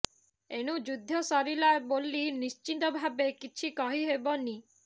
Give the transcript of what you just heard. ଏଣୁ ଯୁଦ୍ଧ ସରିଲା ବୋଲି ନିଶ୍ଚିତ ଭାବେ କିଛି କହି ହେବନି